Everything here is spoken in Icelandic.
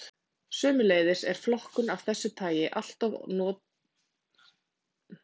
Sömuleiðis er flokkun af þessu tagi alloft notuð í opinberum gögnum um fólk.